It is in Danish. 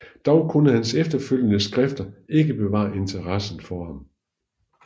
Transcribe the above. Dog kunde hans efterfølgende skrifter ikke bevare interessen for ham